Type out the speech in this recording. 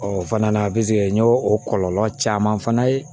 o fana na n y'o o kɔlɔlɔ caman fana ye